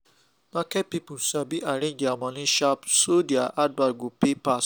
marketing people sabi arrange their money sharp so their advert go pay pass